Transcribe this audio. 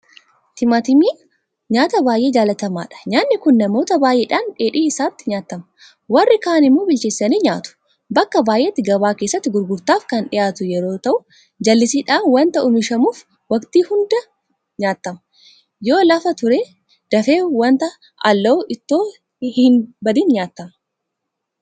Timaatimiin nyaata baay'ee jaalatamaadha. nyaanni kun namoota baay'eedhaan dheedhii isaatti nyaatama. Warri kaan immoo bilcheessanii nyaatu. Bakka baay'eetti gabaa keessatti gurgurtaaf kan dhiyaatu yeroo ta'u; jallisiidhaan waanta oomishamuuf Waktii hunda nyaatama. Yoo lafa ture dafee waanta alaa'uuf itoo inni hinbadin nyaatama.